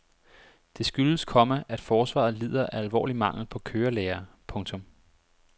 Det skyldes, komma at forsvaret lider af alvorlig mangel på kørelærere. punktum